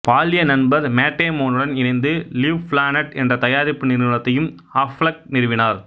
பால்ய நண்பர் மேட் டேமோனுடன் இணைந்து லிவ்பிளானட் என்ற தயாரிப்பு நிறுவனத்தையும் அஃப்லெக் நிறுவினார்